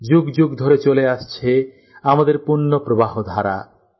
যুগ যুগ ধরে চলে আসছে আমাদের পুণ্য প্রবাহধারা